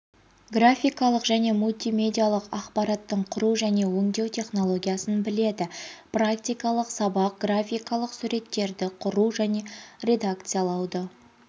графикалық және мультимедиалық ақпараттың құру және өңдеу технологиясын біледі практикалық сабақ графикалық суреттерді құру және редакциялауды